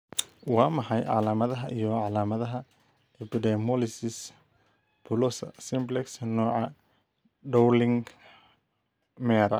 Waa maxay calaamadaha iyo calaamadaha Epidermolysis bullosa simplex, nooca Dowling Meara?